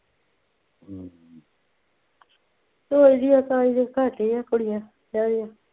ਜਿਹੀ ਹੈ ਤਾਂ ਹੀ ਤਾਂ ਭੱਜਦੀਆਂ ਕੁੜੀਆਂ ਵਿਆਹ ਤੋਂ